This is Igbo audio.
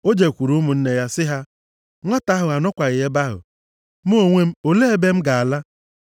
O jekwuru ụmụnne ya sị ha, “Nwata ahụ anọkwaghị ebe ahụ! Mụ onwe m, olee ebe m ga-ala?”